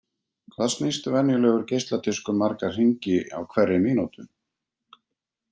Hvað snýst venjulegur geisladiskur marga hringi á hverri mínútu?